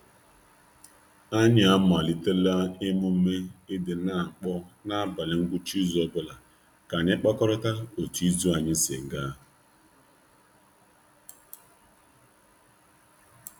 Anyị amalitela omume i di n'akpọ n'abalị ngwucha izu ọbụla um ka anyị kpakorịa um otu izu anyị si ga.